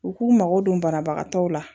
U k'u mago don banabagatɔw la